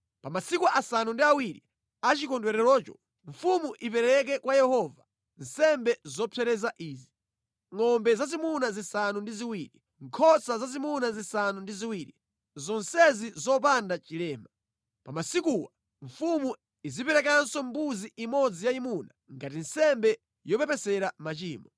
Pa masiku asanu ndi awiri a chikondwererocho, mfumu ipereke kwa Yehova nsembe zopsereza izi: ngʼombe zazimuna zisanu ndi ziwiri, nkhosa zazimuna zisanu ndi ziwiri, zonsezi zopanda chilema. Pa masikuwa mfumu iziperekanso mbuzi imodzi yayimuna ngati nsembe yopepesera machimo.